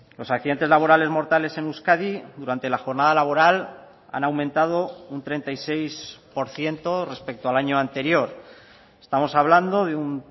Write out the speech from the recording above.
los accidentes laborales mortales en euskadi durante la jornada laboral han aumentado un treinta y seis por ciento respecto al año anterior estamos hablando de un